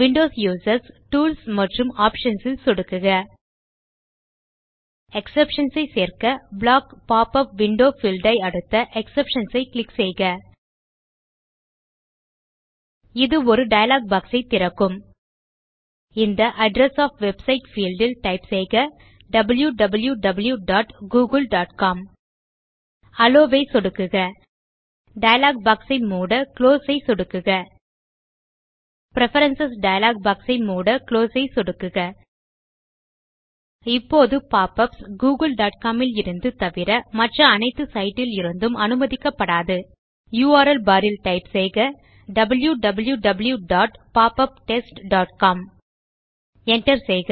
Windows users tools மற்றும் options ல் சொடுக்குக எக்ஸெப்ஷன்ஸ் ஐச் சேர்க்கBlock pop உப் விண்டோஸ் பீல்ட் ஐ அடுத்த எக்ஸெப்ஷன்ஸ் ஐ கிளிக் செய்க இது ஒரு டயலாக் பாக்ஸ் ஐ திறக்கும் இந்த அட்ரெஸ் ஒஃப் வெப்சைட் பீல்ட் ல் டைப் செய்க wow wow wow dot Google dot com allow ஐ சொடுக்குக டயலாக் பாக்ஸ் ஐ மூட குளோஸ் ஐ சொடுக்குக பிரெஃபரன்ஸ் டயலாக் பாக்ஸ் ஐ மூட குளோஸ் ஐ சொடுக்குக இப்போது pop யுபிஎஸ் googleகாம் லிருந்து தவிர மற்ற அனைத்து சைட் லிருந்தும் அனுமதிக்கப்படாது யுஆர்எல் பார் ல் டைப் செய்க wow wow wow dot pop up test dot com Enter செய்க